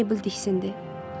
Birdən Meybl diksindi.